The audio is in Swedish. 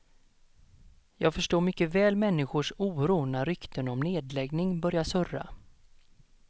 Jag förstår mycket väl människors oro när rykten om nedläggning börjar surrar.